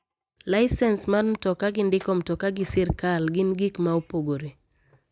Lisens mar mtoka gi ndiko mtoka gi sirkal gin gik ma opogore.